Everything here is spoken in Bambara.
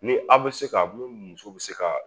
Ni aw bɛ se ka mun muso bɛ se ka